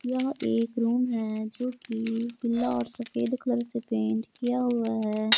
यह एक रूम है जोकि पीला और सफेद कलर से पेंट किया हुआ है।